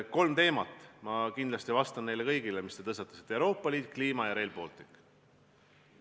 Kolm teemat , mis te tõstatasite: Euroopa Liit, kliima ja Rail Baltic.